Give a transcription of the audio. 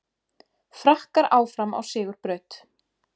Frakkar áfram á sigurbraut